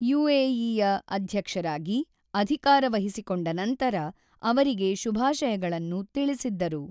ಯುಎಇಯ ಅಧ್ಯಕ್ಷರಾಗಿ ಅಧಿಕಾರ ವಹಿಸಿಕೊಂಡ ನಂತರ ಅವರಿಗೆ ಶುಭಾಶಯಗಳನ್ನು ತಿಳಿಸಿದ್ದರು.